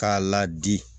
K'a ladi